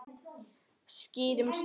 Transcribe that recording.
Skýrum stöfum.